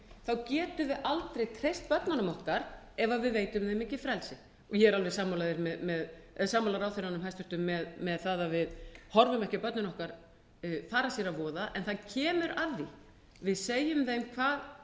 getum við aldrei treyst börnunum okkar ef við veitum þeim ekki frelsi ég er alveg sammála ráðherranum hæstvirtur með það að við horfum ekki á börnin okkar fara sér að voða en það kemur að því